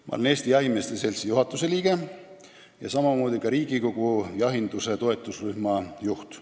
Ma olen Eesti Jahimeeste Seltsi juhatuse liige ja ka Riigikogu jahinduse toetusrühma juht.